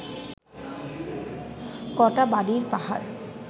কটা বালির পাহাড়